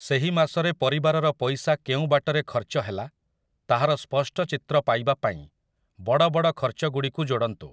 ସେହି ମାସରେ ପରିବାରର ପଇସା କେଉଁ ବାଟରେ ଖର୍ଚ୍ଚ ହେଲା, ତାହାର ସ୍ପଷ୍ଟ ଚିତ୍ର ପାଇବା ପାଇଁ ବଡ଼ବଡ଼ ଖର୍ଚ୍ଚଗୁଡ଼ିକୁ ଯୋଡ଼ନ୍ତୁ ।